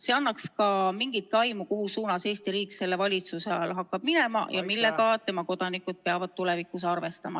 See annaks mingit aimu, mis suunas Eesti riik selle valitsuse ajal hakkab minema ja millega tema kodanikud peavad tulevikus arvestama.